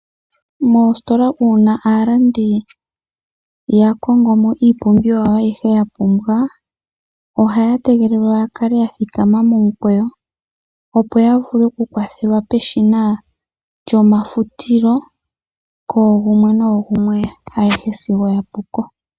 Uuna aalandi ya kongo iipumbiwa yawo ayihe mbyoka ya pumbwa moositola ohaya tegelelwa, opo ta kale ya thikama momukweyo ya vule oku kwathelwa peshina lyomafutilo koogumwe sigo yapuko.